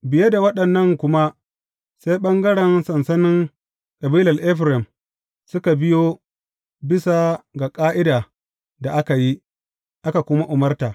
Biye da waɗannan kuma sai ɓangaren sansanin kabilar Efraim suka biyo bisa ga ƙa’ida da aka yi, aka kuma umarta.